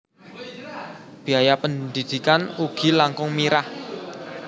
Biaya pendidikan ugi langkung mirah